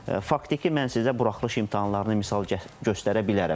Bax faktiki mən sizə buraxılış imtahanlarını misal göstərə bilərəm.